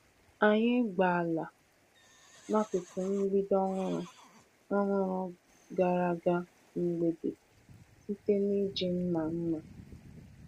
Anyị gbaa ala n’akụkụ mgbidi ọhụrụ ọhụrụ gara aga mgbede site n’iji mma mma.